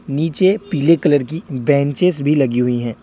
नीचे पीले कलर की बेंचेस भी लगी हुई हैं।